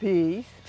Fiz.